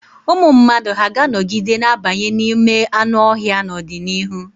Ụmụ mmadụ hà ga-anọgide na-abanye n'ime anụ ọhịa n'ọdịnihu?